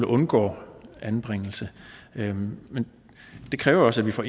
undgår anbringelse men det kræver også at vi får